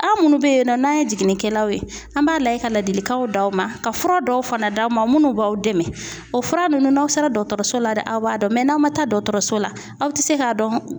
Aw munnu be yen nɔ n'an ye jiginnikɛlaw ye, an b'a lajɛ ka ladilikanw d'aw ma, ka fura dɔw fana d'aw ma, munnu b'aw dɛmɛ o fura nunnu n'aw sera dɔkɔtɔrɔso la de aw b'a dɔn n'aw ma taa dɔgɔtɔrɔso la aw ti se k'a dɔn